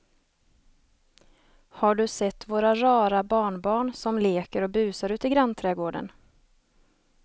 Har du sett våra rara barnbarn som leker och busar ute i grannträdgården!